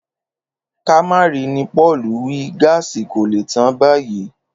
Ká má ri ni Pò̩ò̩lù wí, gáàsì kò lè tán báyìí